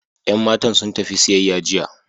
Yan matan sun tafi siyayya jiya.